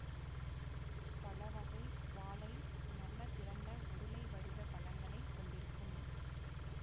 பழவகை வாழை நல்ல திரண்ட உருளை வடிவ பழங்களைக் கொண்டிருக்கும்